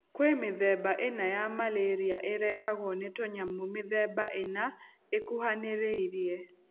Kwĩ mĩthemba ĩna ya Malaria ĩrehagwo nĩ tũnyamũ mĩthemba ĩna ĩkũhanĩrĩirie.